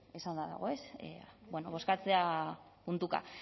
esanda dago ez bueno bozkatzea puntuka